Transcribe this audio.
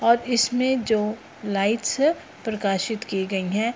और इसमें जो लाइट्स प्रकाशित की गई है।